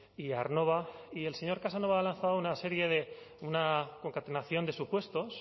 y aernnova y el señor casanova ha lanzado una serie de una concatenación de supuestos